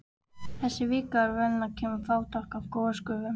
Þessi kvika er venjulega fremur fátæk af gosgufum.